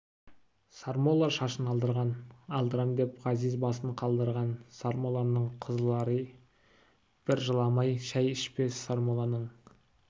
сармолла шашын алдырған алдырам деп ғазиз басын қалдырған сармолланың қызлари бір жыламай шай ішпес сармолланың